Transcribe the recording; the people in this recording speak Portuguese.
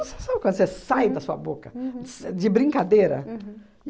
Você sabe quando você sai da sua boca s de brincadeira?